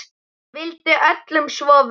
Vildi öllum svo vel.